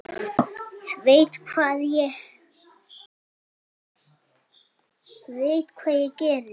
Ég veit hvað ég geri.